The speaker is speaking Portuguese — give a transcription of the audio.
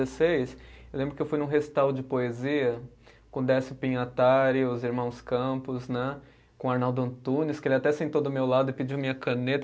Eu lembro que eu fui num recital de poesia com Décio Pinhatari, os Irmãos Campos né, com Arnaldo Antunes, que ele até sentou do meu lado e pediu minha caneta.